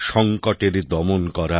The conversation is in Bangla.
সংকটেরে দমন করা